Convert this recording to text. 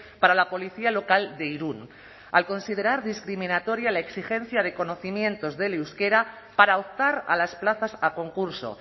para la policía local de irún al considerar discriminatoria la exigencia de conocimientos del euskera para optar a las plazas a concurso